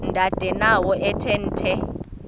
ndanendawo ethe nethe